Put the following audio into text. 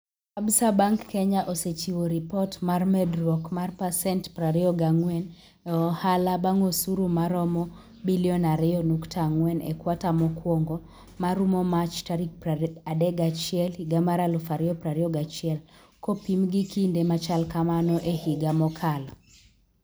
Absa Bank Kenya osechiwo ripot mar medruok mar pasent 24 e ohala bang osuru maromo Sh2.4 billion e kwata mokwongo ma rumo Mach 31, 2021, kopim gi kinde machal kamano e higa mokalo.